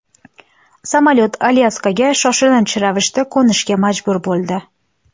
Samolyot Alyaskaga shoshilinch ravishda qo‘nishga majbur bo‘ldi.